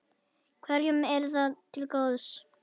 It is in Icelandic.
Hverjum yrði það til góðs?